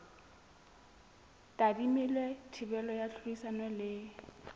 tadimilwe thibelo ya tlhodisano le